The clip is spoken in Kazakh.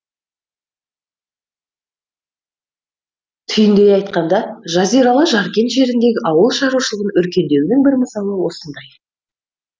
түйіндей айтқанда жазиралы жаркент жеріндегі ауыл шаруашылығының өркендеуінің бір мысалы осындай